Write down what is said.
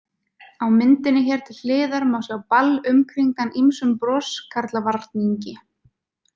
Á myndinni hér til hliðar má sjá Ball umkringdan ýmsum broskarlavarningi.